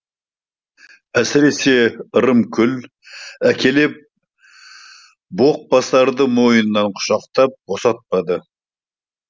әсіресе ырымкүл әкелеп боқбасарды мойнынан құшақтап босатпады